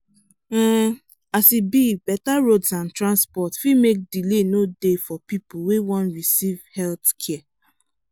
um as e be betta roads and transports fit make delay no dey for pipu wey wan recieve health care